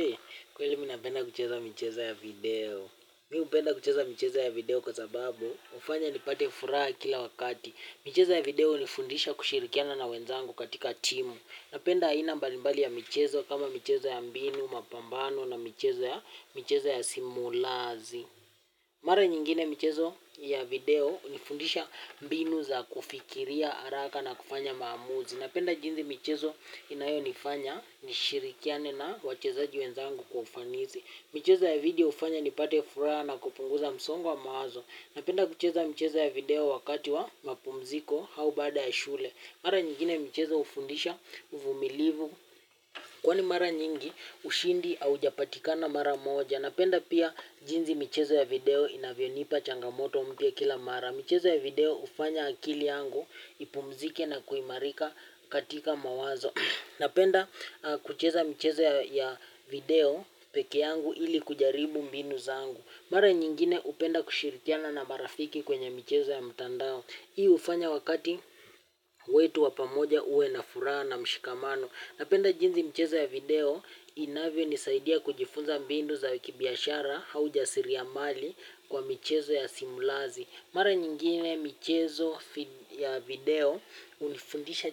Hei, kweli mimi napenda kucheza michezo ya video. Mimi hupenda kucheza michezo ya video kwa sababu, hufanya nipate furaha kila wakati. Michezo ya video hunifundisha kushirikiana na wenzangu katika timu. Napenda aina mbalimbali ya michezo kama michezo ya mbinu, mapambano na michezo ya simulazi. Mara nyingine michezo ya video hunifundisha mbinu za kufikiria, haraka na kufanya maamuzi. Napenda jinzi michezo inayonifanya nishirikiane na wachezaji wenzangu kwa ufanisi. Michezo ya video hufanya nipate furaha na kupunguza msongo wa mawazo. Napenda kucheza michezo ya video wakati wa mapumziko au baada ya shule. Mara nyingine michezo hufundisha uvumilivu. Kwani mara nyingi ushindi haujapatikana mara moja. Napenda pia jinsi michezo ya video inavyonipa changamoto mpya kila mara michezo ya video hufanya akili yangu ipumzike na kuimarika katika mawazo. Napenda kucheza michezo ya video pekee yangu ili kujaribu mbinu zangu. Mara nyingine hupenda kushirikiana na marafiki kwenye michezo ya mtandao. Hii hufanya wakati wetu wa pamoja uwe na furaha na mshikamano. Napenda jinsi michezo ya video inavyonisaidia kujua mbinu za kibiashara au jasiria mali kwa michezo ya simulazi mara nyingine michezo ya video hunifundisha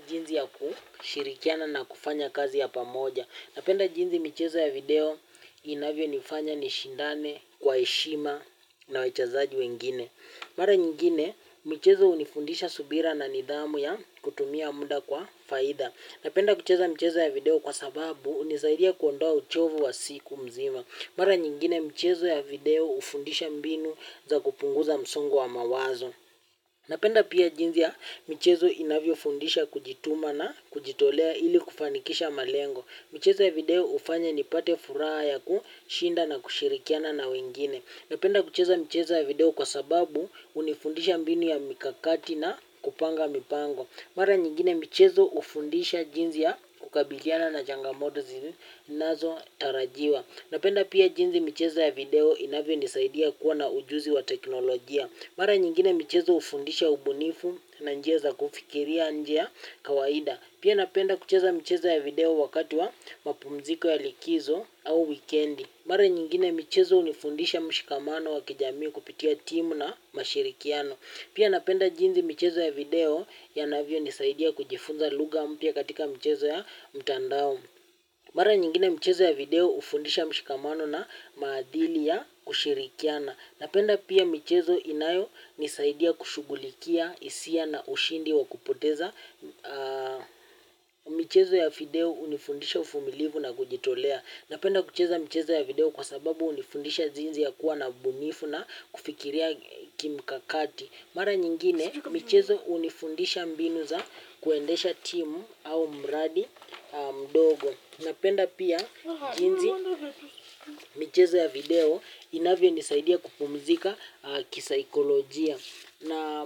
kushirikiana na kufanya kazi ya pamoja napenda jinsi michezo ya video inavyonifanya nishindane kwa heshima na wachezaji wengine. Mara nyingine michezo hunifundisha subira na nidhamu ya kutumia muda kwa faida. Napenda kucheza michezo ya video kwa sababu hunisaidia kuondoa uchovu wa siku mzima. Mara nyingine michezo ya video hufundisha mbinu za kupunguza msungo wa mawazo. Napenda pia jinsi ya michezo inavyofundisha kujituma na kujitolea ili kufanikisha malengo. Michezo ya video hufanya nipate furaha ya kushinda na kushirikiana na wengine. Napenda kucheza mchezo ya video kwa sababu unifundisha mbinu ya mikakati na kupanga mipango. Mara nyingine michezo hufundisha jinsi ya kukabiliana na changamoto zinazotarajiwa. Napenda pia jinsi michezo ya video inavyonisaidia kuwa na ujuzi wa teknolojia. Mara nyingine michezo hufundisha ubunifu na njia za kufikiria njia kawaida. Pia napenda kucheza michezo ya video wakati wa mapumziko ya likizo au wikendi. Mara nyingine michezo hunifundisha mshikamano wa kijamii kupitia timu na mashirikiano. Pia napenda jinsi michezo ya video yanavyonisaidia kujifunza lugha mpya katika michezo ya mtandao. Mara nyingine mchezo ya video hufundisha mshikamano na maadili ya kushirikiana. Napenda pia michezo inayonisaidia kushughulikia hisia na ushindi wa kupoteza. Michezo ya video hunifundisha uvumilivu na kujitolea. Napenda kucheza michezo ya video kwa sababu hunifundisha jinsi ya kuwa na ubunifu na kufikiria kimkakati. Mara nyingine michezo hunifundisha mbinu za kuendesha timu au mradi mdogo. Napenda pia jinsi michezo ya video inavyonisaidia kupumzika kisaikolojia.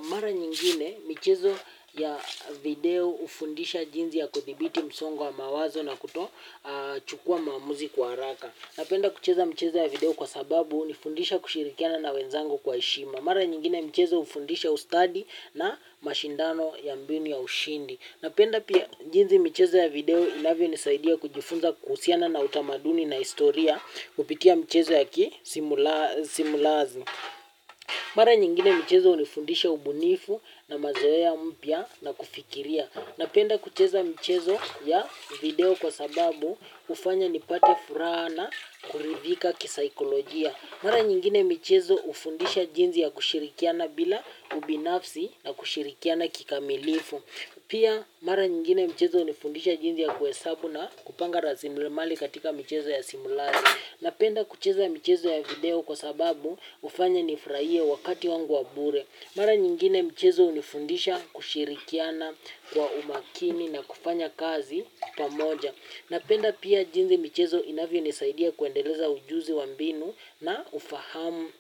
Mara nyingine michezo ya video hufundisha jinsi ya kuthibiti msongo wa mawazo na kutochukua maamuzi kwa haraka. Napenda kucheza michezo ya video kwa sababu hunifundisha kushirikiana na wenzangu kwa heshima. Mara nyingine michezo hufundisha ustadi na mashindano ya mbinu ya ushindi. Napenda pia jinsi michezo ya video inavyonisaidia kujifunza kuhusiana na utamaduni na historia kupitia michezo ya simulazi. Mara nyingine michezo hunifundisha ubunifu na mazoea mpya na kufikiria. Napenda kucheza michezo ya video kwa sababu hufanya nipate furaha na kuridhika kisaikolojia. Mara nyingine mchezo ufundisha jinzi ya kushirikiana bila ubinafsi na kushirikiana kikamilifu. Pia mara nyingine michezo hunifundisha jinsi ya kuhesabu na kupanga rasilimali katika michezo ya simulazi. Napenda kucheza michezo ya video kwa sababu hufanya nifurahie wakati wangu wa bure. Mara nyingine mchezo hunifundisha kushirikiana kwa umakini na kufanya kazi pamoja. Napenda pia jinsi michezo inavyonisaidia kuendeleza ujuzi wa mbinu na ufahamu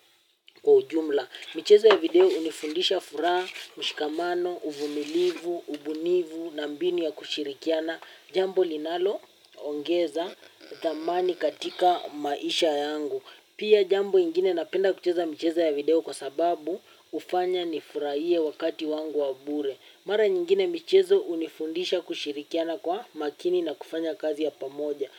kwa ujumla. Michezo ya video hunifundisha furaha, mshikamano, uvumilivu, ubunifu, na mbinu ya kushirikiana. Jambo linaloongeza dhamani katika maisha yangu. Pia jambo ingine napenda kucheza michezo ya video kwa sababu hufanya nifurahie wakati wangu wa bure. Mara nyingine michezo hunifundisha kushirikiana kwa makini na kufanya kazi ya pamoja.